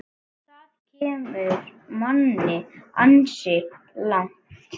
Það kemur manni ansi langt.